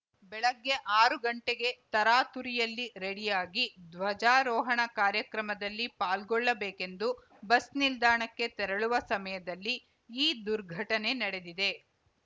ಬೆಳಗ್ಗೆ ಆರು ಗಂಟೆಗೆ ತರಾತುರಿಯಲ್ಲಿ ರೆಡಿಯಾಗಿ ಧ್ವಜಾರೋಹಣ ಕಾರ್ಯಕ್ರಮದಲ್ಲಿ ಪಾಲ್ಗೊಳ್ಳಬೇಕೆಂದು ಬಸ್‌ ನಿಲ್ದಾಣಕ್ಕೆ ತೆರಳುವ ಸಮಯದಲ್ಲಿ ಈ ದುರ್ಘಟನೆ ನಡೆದಿದೆ